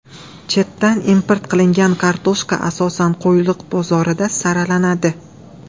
Chetdan import qilingan kartoshka asosan Qo‘yliq bozorida saralanadi.